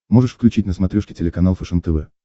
можешь включить на смотрешке телеканал фэшен тв